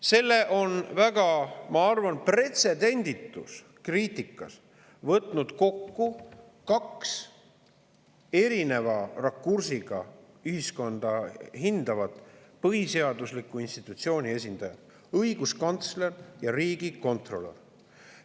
Selle on minu arvates väga pretsedenditus kriitikas võtnud kokku kaks erineva rakursiga ühiskonda hindavat põhiseadusliku institutsiooni esindajat: õiguskantsler ja riigikontrolör.